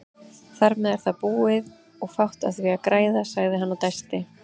Þarmeð er það búið og fátt á því að græða, sagði hann og dæsti.